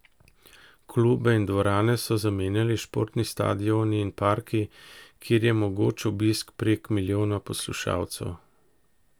Klube in dvorane so zamenjali športni stadioni in parki, kjer je mogoč obisk prek milijona poslušalcev.